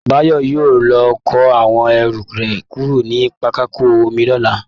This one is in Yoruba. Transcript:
Bayo yóò lọ kó àwọn ẹrù rẹ̀ kúrò ní pápákọ omi lọ́la